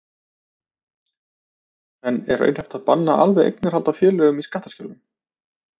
En er raunhæft að banna alveg eignarhald á félögum í skattaskjólum?